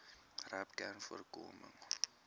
rapcanvoorkoming